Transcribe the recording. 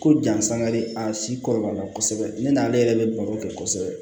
Ko jansan de a si kɔrɔbaya la kosɛbɛ ne n'ale yɛrɛ bɛ baro kɛ kosɛbɛ